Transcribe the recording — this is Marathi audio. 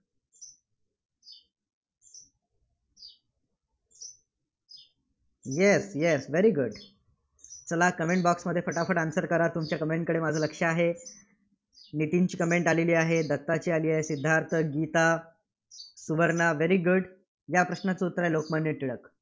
Yes yes very good चला comment box मध्ये फटाफट answer करा. तुमच्या comment कडे माझे लक्ष आहे. नितीनची comment आलेली आहे, दत्ताची comment आलेली आहे, सिद्धार्थ, गीता, सुवर्णा very good या प्रश्नाचं उत्तर आहे, लोकमान्य टिळक.